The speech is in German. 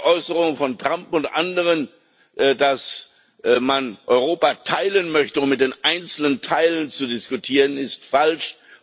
Die Äußerungen von Trump und anderen, dass man Europa teilen möchte, um mit den einzelnen Teilen zu diskutieren, ist falsch.